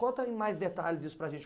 Conta em mais detalhes isso para a gente.